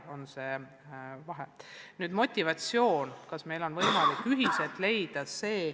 Nüüd motivatsioonist, kas meil on võimalik seda ühiselt leida.